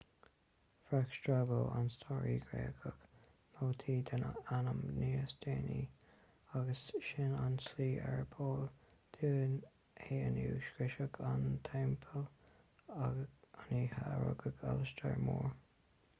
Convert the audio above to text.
bhreac strabo an staraí gréagach nóta den ainm níos déanaí agus sin an tslí arb eol dúinn é inniu scriosadh an teampaill an oíche a rugadh alastar mór